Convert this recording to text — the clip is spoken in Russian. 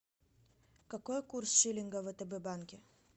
какой курс шиллинга в втб банке